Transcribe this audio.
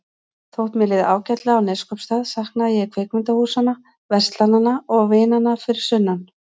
Þótt mér liði ágætlega á Neskaupstað saknaði ég kvikmyndahúsanna, verslananna og vinanna fyrir sunnan.